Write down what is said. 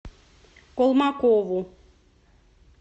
колмакову